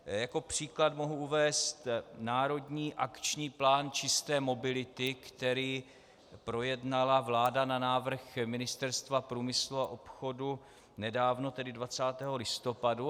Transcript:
Jako příklad mohu uvést Národní akční plán čisté mobility, který projednala vláda na návrh Ministerstva průmyslu a obchodu nedávno, tedy 20. listopadu.